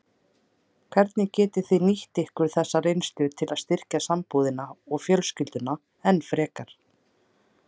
Hvernig getið þið nýtt ykkur þessa reynslu til að styrkja sambúðina og fjölskylduna enn frekar?